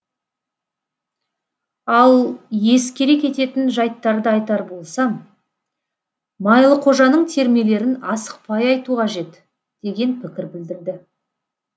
ал ескере кететін жайттарды айтар болсам майлықожаның термелерін асықпай айту қажет деген пікір білдірді